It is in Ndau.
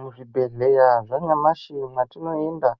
Muzvibhedhleya zvanyamashi mwatinoenda,